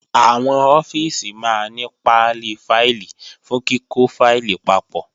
Àwọn ọ́fíìsì máa ní pálí fáìlì fún kíkọ́ fáìlì papọ̀